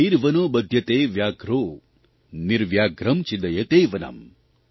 નિર્વનો બધ્યતે વ્યાધ્રો નિવ્યાઘ્રં છિદ્દયતે વનમ્